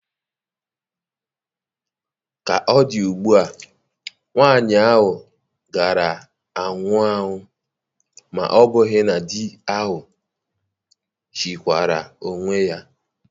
Ka ọ dị ugbu a, nwanyị ahụ gaara anwụwo, ma ọ́ bụghị na di ahụ chịkwaara onwe ya.